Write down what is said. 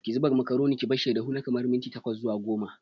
Ki zuba makaroni ki barshi ya dahu na kamar minti tkwas zuwa goma.